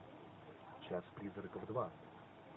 час призраков два